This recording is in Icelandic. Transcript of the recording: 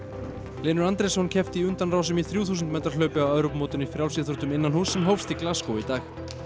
Hlynur Andrésson keppti í undanrásum í þrjú þúsund metra hlaupi á Evrópumótinu í frjálsíþróttum innanhúss sem hófst í Glasgow í dag